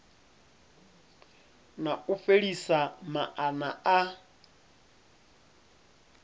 na u fhelisa maana a